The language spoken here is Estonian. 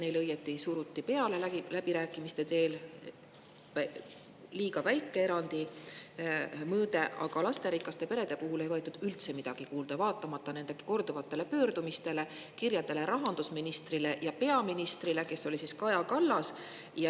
Neile õieti suruti läbirääkimiste teel peale liiga väike erandi mõõde, aga lasterikaste perede muret ei võetud üldse kuulda, vaatamata nende korduvatele pöördumistele, kirjadele rahandusministrile ja peaministrile, kes oli siis Kaja Kallas.